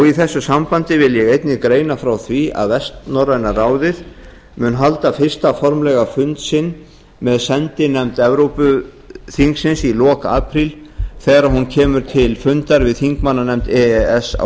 í þessu sambandi vil ég einnig greina frá því að vestnorræna ráðið mun halda fyrsta formlega fund sinn með sendinefnd evrópuþingsins í lok apríl þegar hún kemur til fundar við þingmannanefnd e e s á